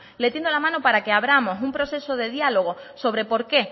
le tiendo la mano para que abramos un proceso de diálogo sobre por qué